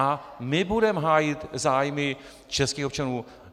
A my budeme hájit zájmy českých občanů.